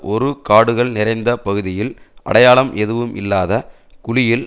ஒரு காடுகள் நிறைந்த பகுதியில் அடையாளம் எதுவுமில்லாத குழியில்